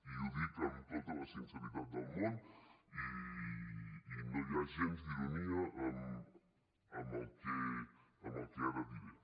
i ho dic amb tota la sinceritat del món i no hi ha gens d’ironia en el que ara diré